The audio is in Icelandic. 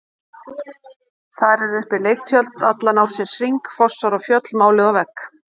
Þar eru uppi leiktjöld allan ársins hring, fossar og fjöll máluð á vegg.